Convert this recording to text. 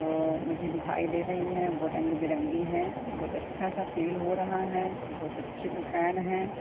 ओ मुझे दिखाई दे रही है वो रंग बिरंगी हैं बहोत अच्छा सा फील हो रहा है बहोत अच्छी दुकान है।